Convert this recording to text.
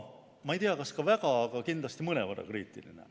Ma ei teagi, kas väga, aga kindlasti mõnevõrra kriitiline.